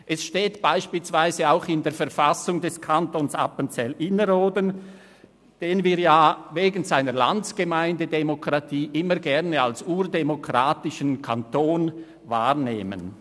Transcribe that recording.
Es steht beispielsweise auch in der Verfassung des Kantons Appenzell Innerrhoden, den wir wegen seiner Landsgemeindedemokratie immer gerne als urdemokratischen Kanton wahrnehmen.